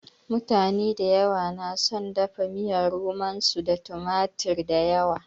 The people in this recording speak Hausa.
Mutane dayawa na son dafa miyar romon su da tumatir dayawa.